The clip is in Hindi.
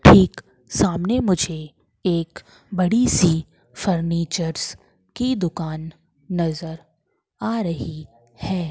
ठीक सामने मुझे एक बड़ी सी फर्नीचर्स की दुकान नज़र आ रही है।